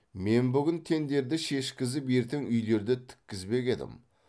мен бүгін теңдерді шешкізіп ертең үйлерді тіккізбек едім